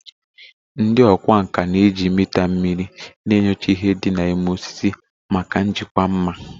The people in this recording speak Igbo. Ndị ọkwá nkà na-eji mita mmiri na-enyocha ihe dị na ime osisi maka njikwa mma